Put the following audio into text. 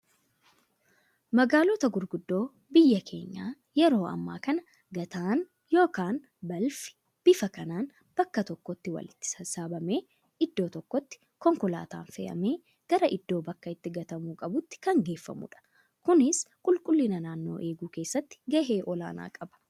Magaalota gurguddoo biyya keenya yeroo ammaa kana gataan yookaan balfi bifa kanaan bakka tokkotti walitti sassaabamee, iddoo tokkotti konkolaataan fe'amee gara iddoo bakka itti gatamuu qabuutti kan geeffamudha. Kunis qulqulliina naannoo eeguu keessatti gahee olaanaa qaba.